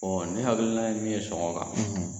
Ɔɔ ne hakili la ye min yensɔngɔ kan